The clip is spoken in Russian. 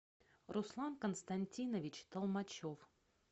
руслан константинович толмачев